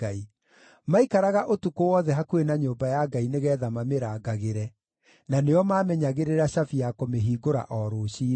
Maikaraga ũtukũ wothe hakuhĩ na nyũmba ya Ngai nĩgeetha mamĩrangagĩre; na nĩo maamenyagĩrĩra cabi ya kũmĩhingũra o rũciinĩ.